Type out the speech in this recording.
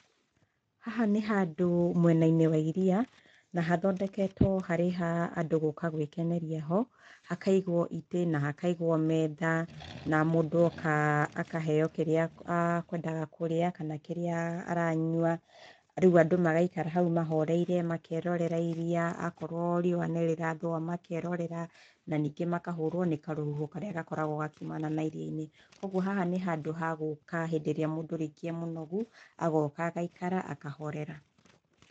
Haha nĩ handũ mwena-inĩ wa iria na hathondeketwo harĩ ha andũ gũka gwĩkeneria ho, hakaigwo itĩ na hakaigwo metha na mũndũ oka akaheo kĩrĩa akwendaga kũrĩa, kana kĩrĩa aranyua. Rĩu andũ magaikara hau mahoreire makerorĩra irĩa, akorwo riũa nĩ rĩrathũa makerorera na ningĩ makahũrwo nĩ karũhuho karĩa gakoragwo gakiumana na iria-inĩ. Kuoguo haha nĩ handũ ha gũka hĩndĩ ĩrĩa mũndũ rĩngĩ arĩ mũnogu agoka agaikara akahorera.